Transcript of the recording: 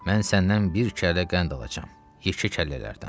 Mən səndən bir kəllə qənd alacam, yekə kəllələrdən.